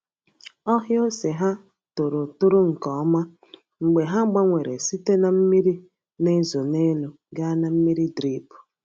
Ọhịa ose ha toro toro nke ọma mgbe ha gbanwere site na mmiri na-ezo n’elu gaa na mmiri drip.